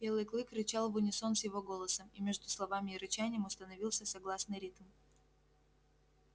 белый клык рычал в унисон с его голосом и между словами и рычанием установился согласный ритм